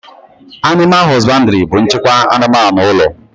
Animal hosbandiri bu nchịkwa anụmanụ ụlọ